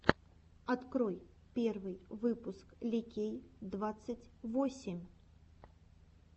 открой первый выпуск ликей двадцать восемь